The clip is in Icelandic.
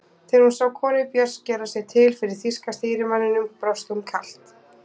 Þegar hún sá konu Björns gera sig til fyrir þýska stýrimanninum brosti hún kalt.